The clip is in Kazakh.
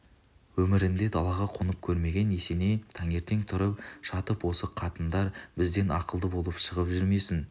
өмірінде далаға қонып көрмеген есеней таңертең тұрып жатыпосы қатындар бізден ақылды болып шығып жүрмесін